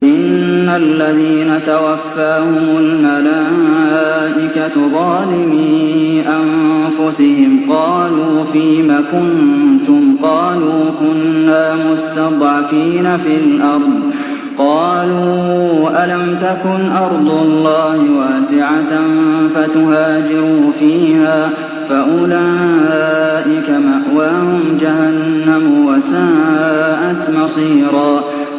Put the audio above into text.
إِنَّ الَّذِينَ تَوَفَّاهُمُ الْمَلَائِكَةُ ظَالِمِي أَنفُسِهِمْ قَالُوا فِيمَ كُنتُمْ ۖ قَالُوا كُنَّا مُسْتَضْعَفِينَ فِي الْأَرْضِ ۚ قَالُوا أَلَمْ تَكُنْ أَرْضُ اللَّهِ وَاسِعَةً فَتُهَاجِرُوا فِيهَا ۚ فَأُولَٰئِكَ مَأْوَاهُمْ جَهَنَّمُ ۖ وَسَاءَتْ مَصِيرًا